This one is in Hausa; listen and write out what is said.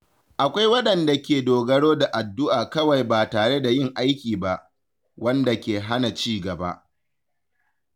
Akwai waɗanda ke dogaro da addu’a kawai ba tare da yin aiki ba, wanda ke hana cigaba.